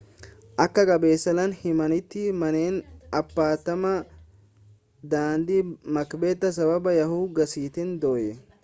akka gabaasaaleen himanitti manneen appaartaamaa daandii maakbeet sababa yaa'uu gaasiitiin dhoye